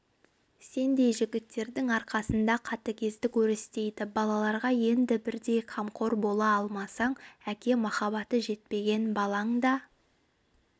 сендей жігіттердің арқасында қатігездік өрістейді балаларға енді бірдей қамқор бола алмасаң әке махаббаты жетпеген балаң да